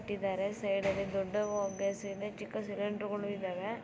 ಇಟ್ಟಿದ್ದಾರೆ ಸೈಡಲ್ಲಿ ದೊಡ್ಡ ಗ್ಯಾಸ್ ಇದೆ ಚಿಕ್ಕ ಸಿಲಿಂಡರ್ ಗಳು ಇದ್ದಾವೆ.